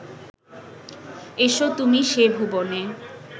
এসো তুমি সে ভুবনে